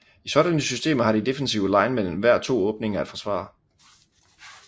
I sådanne systemer har de defensive linemen hver to åbninger at forsvare